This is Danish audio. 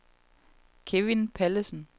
Kevin Pallesen